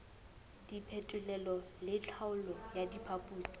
diphetolelo le tlhaolo ya diphoso